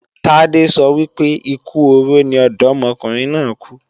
Tádé sọ wípé, ikú oró ni ọ̀dọ́mọkùnrin náà kú.